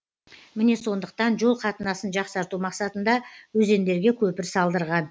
міне сондықтан жол қатынасын жақсарту мақсатында өзендерге көпір салдырған